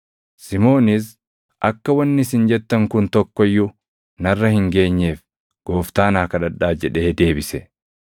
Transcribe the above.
Simoonis, “Akka wanni isin jettan kun tokko iyyuu narra hin geenyeef Gooftaa naa kadhadhaa” jedhee deebise.